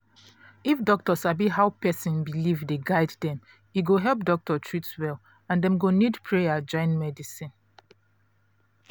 if doctor sabi how person belief dey guide dem e go help doctor treat well and dem go need prayer join medicine